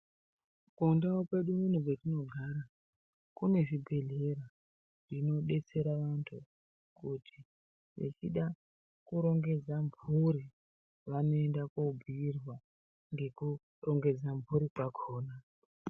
Kundau kwedu kuno kwetinogara kunezvibhedhlera zvinodetsera vantu kuti vechida kurongedza mhuri vanoenda kobhiirwa ngekurongedza mhuri kwakhona.